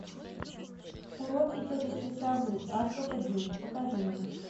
уроки тетушки совы азбука денег покажи мне